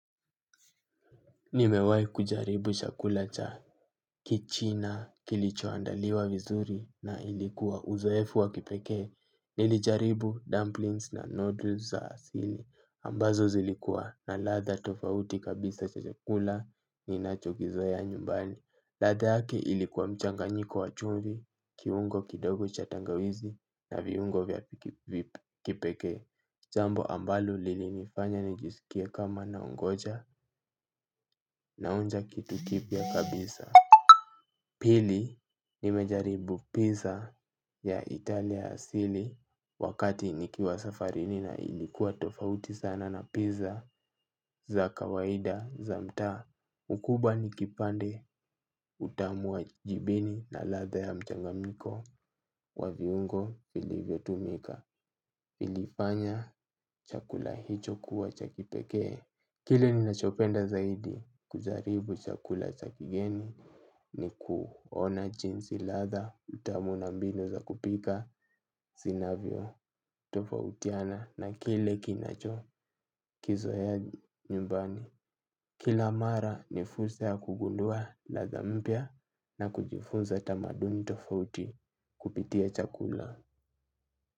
Nimewai kujaribu chakula cha kichina kilichoandaliwa vizuri na ilikuwa uzoefu wa kipekee. Nilijaribu dumplings na noodles za asili ambazo zilikua na ladha tofauti kabisa cha chakula ninachokizoea nyumbani. Ladha yake ilikuwa mchanganyiko wa chumvi, kiungo kidogo cha tangawizi na viungo vya kipekee. Jambo ambalo lilinifanya nijisikie kama naongoja naonja kitu kipya kabisa. Pili nimejaribu pizza ya Italia asili wakati nikiwa safarini na ilikuwa tofauti sana na pizza za kawaida za mtaa. Ukubwa ni kipande utamu wa jibini na ladha ya mchanganyiko kwa viungo vilivyotumika. Ilifanya chakula hicho kuwa cha kipekee kile ninachopenda zaidi kujaribu chakula cha kigeni ni kuona jinsi ladha utamu na mbinu za kupika zinavyotofautiana na kile kinacho kizoea nyumbani. Kila mara ni fursa ya kugundua ladha mpya na kujifunza tamaduni tofauti kupitia chakula.